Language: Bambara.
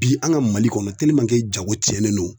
Bi an ka Mali kɔnɔ jago tiɲɛnen don